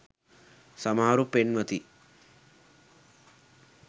සමහරු පෙන්වති